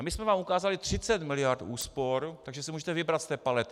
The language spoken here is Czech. A my jsme vám ukázali 30 mld. úspor, takže si můžete vybrat z té palety.